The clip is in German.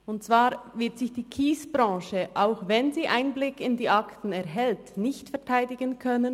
Und zwar wird sich die Kiesbranche, auch wenn sie Einblick in die Akten erhält, nicht öffentlich verteidigen können.